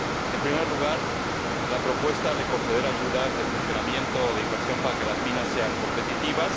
En primer lugar, la propuesta de conceder ayudas de funcionamiento o de inversión para que las minas sean competitivas.